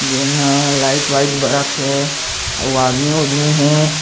जेन ह लाइट वाईट बरत हे अऊ आदमी उदमी हे।